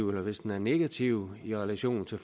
hvis den er negativ i relation til